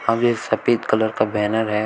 ये सफेद कलर का बैनर है।